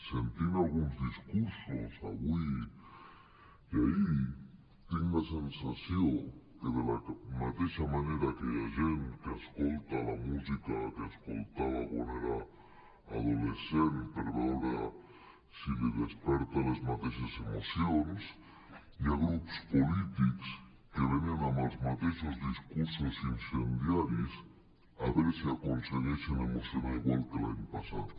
sentint alguns discursos avui i ahir tinc la sensació que de la mateixa manera que hi ha gent que escolta la música que escoltava quan era adolescent per veure si li desperta les mateixes emocions hi ha grups polítics que venen amb els mateixos discursos incendiaris a veure si aconsegueixen emocionar igual que l’any passat